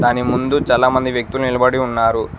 దాని ముందు చాలామంది వ్యక్తుల్ నిలబడి ఉన్నారు.